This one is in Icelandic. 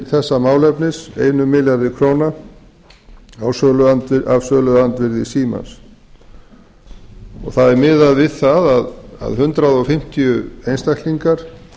ráðstafa til þessa málefnis einum milljarði króna af söluandvirði símans það er miðað við það að hundrað fimmtíu einstaklingar